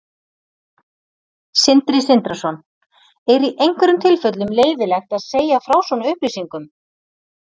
Sindri Sindrason: Er í einhverjum tilfellum leyfilegt að segja frá svona upplýsingum?